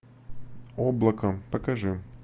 облако покажи